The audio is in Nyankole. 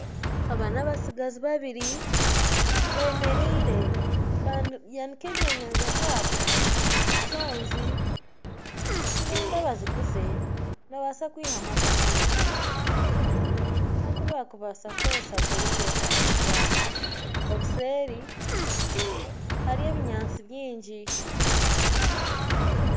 Aba nabatsigazi babiri bemereire bayanika ebyenyanja byabo, enshonzi nibenda baziguze babaase kwihamu akasente aku bakubaasa kukoresa kugura ebyetaago byabo obuseeri hariyo ebinyatsi bingi